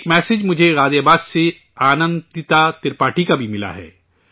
ایک میسیج مجھے غازی آباد سے آنندتا ترپاٹھی کا بھی ملا ہے